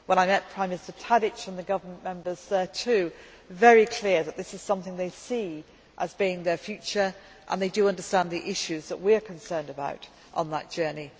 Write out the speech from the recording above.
When I met President Tadić and the government members, it was very clear there, too, that this is something they see as being their future, and they too understand the issues that we are concerned about on that journey.